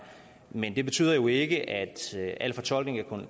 men det betyder jo ikke at al fortolkning af